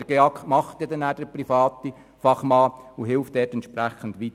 Der private Fachmann kümmert sich um den GEAK und hilft dort entsprechend weiter.